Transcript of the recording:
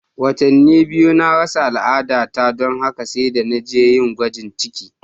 Watanni biyu na rasa al'adata don haka sai da na je yin gwajin ciki.